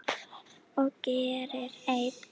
Og gerir enn.